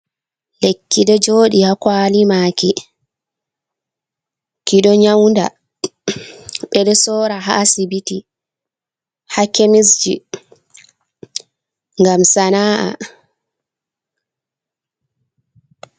Lekki ɗo joɗi ha kwali ma ki, ki ɗo nyauda, ɓe ɗo sora ha asibiti, ha kemisji ngam sana’a.